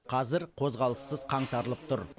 қазір қозғалыссыз қаңтарылып тұр